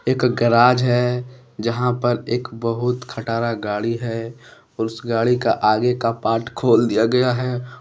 एक गराज है यहां पर एक बहुत खटारा गाड़ी है और उस गाड़ी का आगे का पार्ट खोल दिया गया है।